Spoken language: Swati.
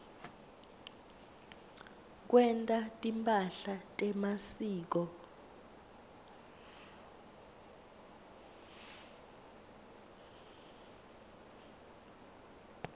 kwenta timphahla temasiko